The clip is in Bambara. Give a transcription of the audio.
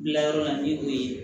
Gilayɔrɔ la ni o ye